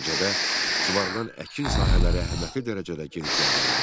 Nəticədə suvarılan əkin sahələri əhəmiyyətli dərəcədə genişləndirildi.